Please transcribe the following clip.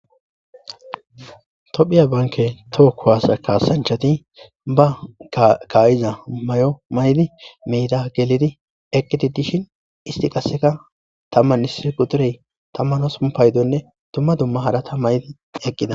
tophiya banke toho kuwasa kaasanchati ba ka7iza may7o may7di meyda gelidi eqqiti dishin isti qaseka tamman isi qudurey tamman hospun paydonne dumma dumma hadata maydi eqqida